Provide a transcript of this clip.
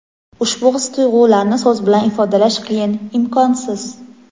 Ushbu his-tuyg‘ularni so‘z bilan ifodalash qiyin, imkonsiz.